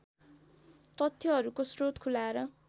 तथ्यहरूको स्रोत खुलाएर